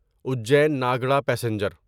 Ujjain Nagda passenger